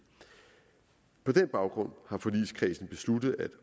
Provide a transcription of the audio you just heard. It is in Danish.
på den baggrund har forligskredsen besluttet at